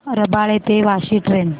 रबाळे ते वाशी ट्रेन